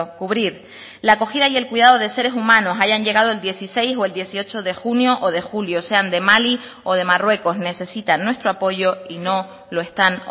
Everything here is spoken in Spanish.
cubrir la acogida y el cuidado de seres humanos hayan llegado el dieciséis o el dieciocho de junio o de julio sean de mali o de marruecos necesitan nuestro apoyo y no lo están